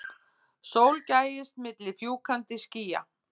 Sól gægist milli fjúkandi skýja.